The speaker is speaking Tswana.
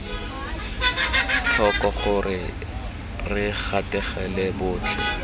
tlhoko gore re gatelela botlhe